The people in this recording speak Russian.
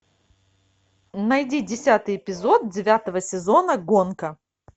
найди десятый эпизод девятого сезона гонка